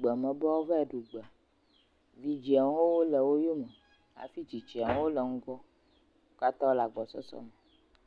be woava yi ɖu gbe, vidziawo hã le wo yome hafi tsitsiawohã wole ŋgɔ. Wo katã wole agbɔsɔsɔme.